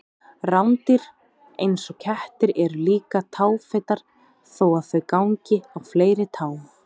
Rándýr eins og kettir eru líka táfetar þó að þau gangi á fleiri tám.